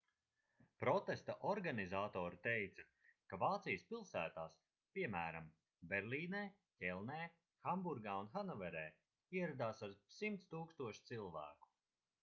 protesta organizatori teica ka vācijas pilsētās piemēram berlīnē ķelnē hamburgā un hannoverē ieradās ap 100 000 cilvēku